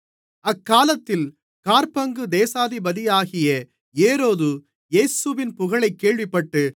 அக்காலத்தில் காற்பங்கு தேசாதிபதியாகிய ஏரோது இயேசுவின் புகழைக் கேள்விப்பட்டு